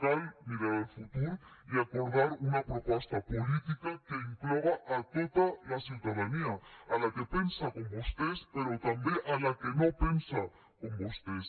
cal mirar el futur i acordar una proposta política que incloga a tota la ciutadania la que pensa com vostès però també la que no pensa com vostès